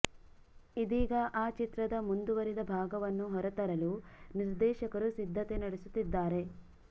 ಇದೀಗ ಆ ಚಿತ್ರದ ಮುಂದುವರಿದ ಭಾಗವನ್ನು ಹೊರತರಲು ನಿರ್ದೇಶಕರು ಸಿದ್ಧತೆ ನಡೆಸುತ್ತಿದ್ದಾರೆ